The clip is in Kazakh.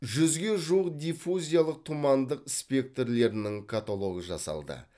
жүзге жуық диффузиялық тұмандық спектрлерінің каталогы жасалды